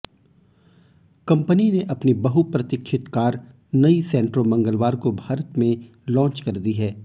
company ने अपनी बहुप्रतीक्षित कार नई सैंट्रो मंगलवार को भारत में लॉन्च कर दी है